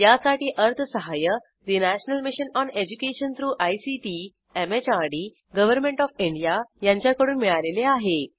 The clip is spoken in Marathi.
यासाठी अर्थसहाय्य national mission on education through ICT MHRD government of India यांच्याकडून मिळालेले आहे